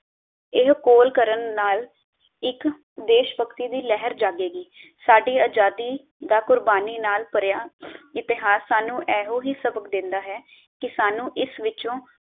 ਇਹ ਕੋਲ ਕਰਨ ਨਾਲ ਇਕ ਦੇਸ਼ਭਕਤੀ ਦੀ ਲਹਿਰ ਜਾਗੇਗੀ। ਸਾਡੀ ਆਜ਼ਾਦੀ ਦਾ ਕੁਰਬਾਨੀ ਨਾਲ ਭਰਿਆ ਇਤਿਹਾਸ ਸਾਨੂ ਐਹੋ ਸਬਕ ਦੇਂਦਾ ਹੈ ਕਿ ਸਾਨੂੰ ਇਸ ਵਿਚੋਂ